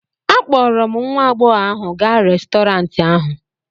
akpọrọ m nwa agbọghọ ahụ gaa Restọrantị ahụ